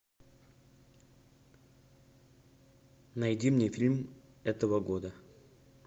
найди мне фильм этого года